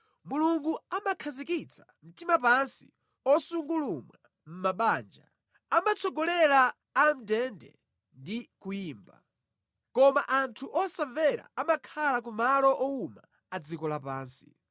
Mulungu amakhazikitsa mtima pansi osungulumwa mʼmabanja, amatsogolera amʼndende ndi kuyimba; koma anthu osamvera amakhala ku malo owuma a dziko lapansi.